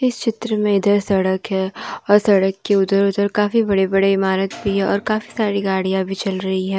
इस चित्र में इधर सड़क है और सड़क के उधर- उधर काफी बड़े-बड़े इमारत भी है और कभी सारी गाड़ियां भी चल रही है।